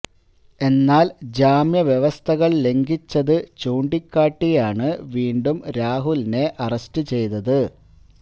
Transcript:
എന്നാല് ജാമ്യ വ്യവസ്ഥകൾ ലംഘിച്ചത് ചൂണ്ടിക്കാട്ടിയാണ് വീണ്ടും രാഹുലിനെ അറസ്റ്റ് ചെയ്തത്